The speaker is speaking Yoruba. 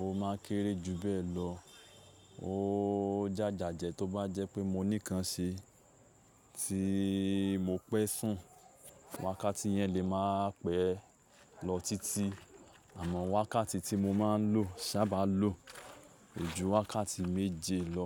ò máa kéré jù bẹ́ẹ̀ lọ ó jàjà jẹ tó bá jẹ́ pé mo ní nǹkan ṣe tí mo pẹ́ sùn. Wákàtí yẹn lè máa pẹ́ lọ títí àmọ́ wákàtí tí mo máa ń lò sábà lo kojù wákàtí méje lọ